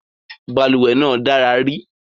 Balùwẹ́ náà dára ri